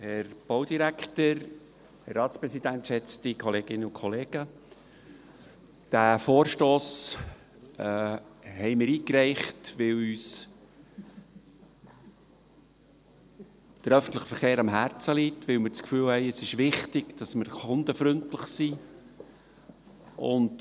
Wir haben diesen Vorstoss eingereicht, weil uns der öffentliche Verkehr am Herzen liegt, weil wir das Gefühl haben, es sei wichtig, dass wir kundenfreundlich sind.